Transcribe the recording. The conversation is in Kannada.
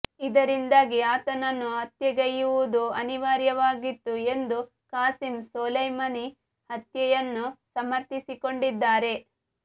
ಇದರಿಂದಾಗಿ ಆತನನ್ನು ಹತ್ಯೆಗೈಯುವುದು ಅನಿವಾರ್ಯವಾಗಿತ್ತು ಎಂದು ಖಾಸಿಂ ಸೊಲೈಮನಿ ಹತ್ಯೆಯನ್ನು ಸಮರ್ಥಿಸಿಕೊಂಡಿದ್ದಾರೆ